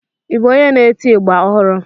Ị bụ onye n'eti ịgba ọhụrụ?